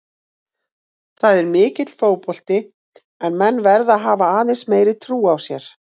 Það er mikill fótbolti en menn verða að hafa aðeins meiri trú á sér.